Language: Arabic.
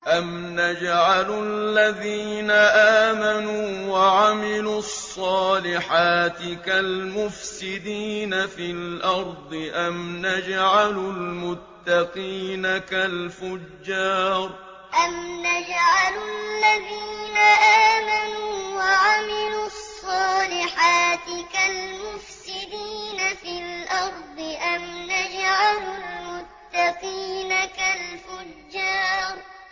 أَمْ نَجْعَلُ الَّذِينَ آمَنُوا وَعَمِلُوا الصَّالِحَاتِ كَالْمُفْسِدِينَ فِي الْأَرْضِ أَمْ نَجْعَلُ الْمُتَّقِينَ كَالْفُجَّارِ أَمْ نَجْعَلُ الَّذِينَ آمَنُوا وَعَمِلُوا الصَّالِحَاتِ كَالْمُفْسِدِينَ فِي الْأَرْضِ أَمْ نَجْعَلُ الْمُتَّقِينَ كَالْفُجَّارِ